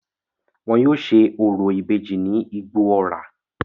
Wọn yóò se orò ìbejì ní Igbó-ọrà.